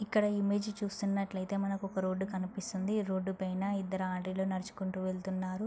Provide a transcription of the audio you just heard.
ఇక్కడ ఈ ఇమేజ్ చూస్తున్నటైతే మనకి ఒక రోడ్ కనిపిస్తుంది. ఈ రోడ్ పైన ఇద్దరు అంటి లు నడుచుకుంటు వెళ్తున్నారు.